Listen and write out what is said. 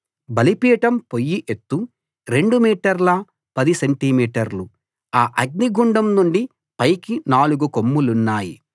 బలిపీఠం పొయ్యి ఎత్తు 2 మీటర్ల 10 సెంటి మీటర్లు ఆ అగ్నిగుండం నుండి పైకి నాలుగు కొమ్ములున్నాయి